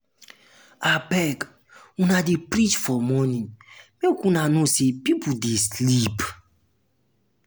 abeg if una dey preach for morning make una know sey pipo dey sleep.